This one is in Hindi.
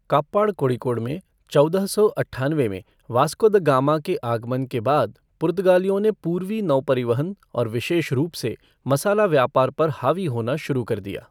काप्पाड कोड़िकोड में चौदह सौ अट्ठानवे में वास्को द गामा के आगमन के बाद पुर्तगालियों ने पूर्वी नौपरिवहन और विशेष रूप से मसाला व्यापार पर हावी होना शुरू कर दिया।